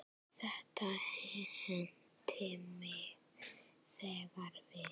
Þetta henti mig þegar við